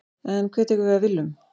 En hver tekur við af Willum?